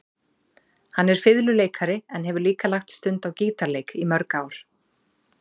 Hann er fiðluleikari en hefur líka lagt stund á gítarleik í mörg ár.